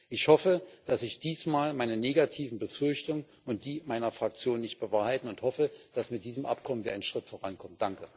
Ich hoffe, dass sich diesmal meine negativen Befürchtungen und die meiner Fraktion nicht bewahrheiten und dass wir mit diesem Abkommen einen Schritt vorankommen.